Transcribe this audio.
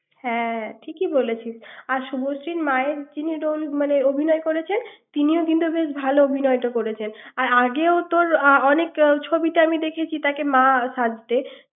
হ্যাঁ ঠিকই বলেছিস আর শুভশ্রী মায়ের যিনি মানে অভিনয় করেছেন উনি বেশ ভালো অভিনয় করেছেন আগেও তোর অনেক ছবিতে দেখেছি তাকে মা সাজতে